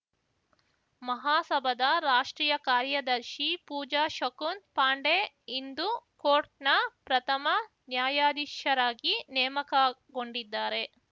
ಮಹಾಸಭಾದ ರಾಷ್ಟ್ರೀಯ ಕಾರ್ಯದರ್ಶಿ ಪೂಜಾ ಶಕುನ್‌ ಪಾಂಡೆ ಹಿಂದೂ ಕೋರ್ಟ್‌ನ ಪ್ರಥಮ ನ್ಯಾಯಾಧೀಶರಾಗಿ ನೇಮಕಗೊಂಡಿದ್ದಾರೆ